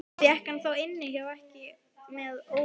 Fékk hann þá inni hjá ekkju með ómegð.